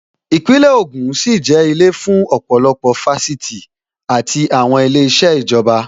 Īpínlè ògùn sì jẹ́ ilé fún ọ̀pọ̀lọpọ̀ Fáṣítì àti àwọn ilé iṣẹ́ ìjọba